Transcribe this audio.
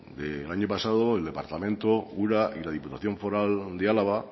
del año pasado el departamento ura y la depuración foral de álava